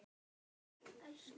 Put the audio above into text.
Kæra Hrefna